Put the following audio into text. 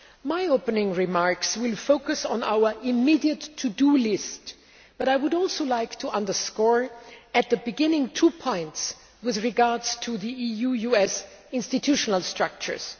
My opening remarks will focus on our immediate to do' list, but I would also like to stress at the beginning two points with regard to EU US institutional structures.